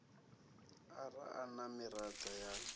ara a na miraḓo ya